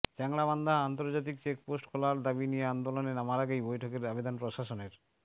চ্যাংড়াবান্ধা আন্তর্জাতিক চেকপোস্ট খোলার দাবি নিয়ে আন্দোলনে নামার আগেই বৈঠকের আবেদন প্রশাসনের